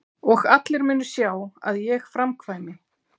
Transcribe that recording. Og allir munu sjá að ég framkvæmi!